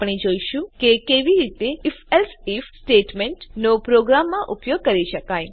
આપણે જોઈશું કે કેવી રીતે IfElse આઇએફ સ્ટેટમેંટ નો પ્રોગ્રામમાં ઉપયોગ કરી શકાય